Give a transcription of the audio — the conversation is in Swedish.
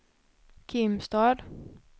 Kimstad